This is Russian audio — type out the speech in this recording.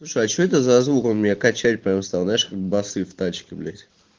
слушай а что это за звук он меня качать прям стал знаешь как басы в тачке блять